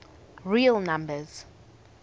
real numbers